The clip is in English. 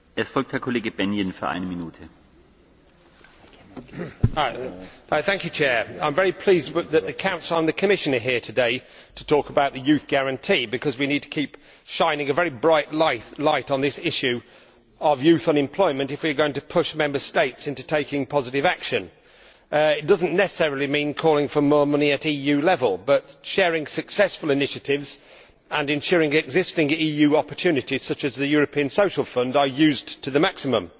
Mr President, I am very pleased that both the Council and the Commission are here today to talk about the Youth Guarantee because we need to keep shining a very bright light on this issue of youth unemployment if we are going to push Member States into taking positive action. It does not necessarily mean calling for more money at EU level, but sharing successful initiatives and ensuring that existing EU opportunities, such as the European Social Fund, are used to the maximum.